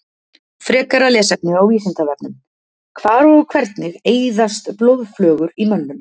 Frekara lesefni á Vísindavefnum: Hvar og hvernig eyðast blóðflögur í mönnum?